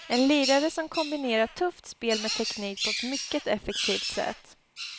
En lirare som kombinerar tufft spel med teknik på ett mycket effektivt sätt.